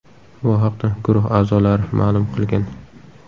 Bu haqda Guruh a’zolari ma’lum qilgan .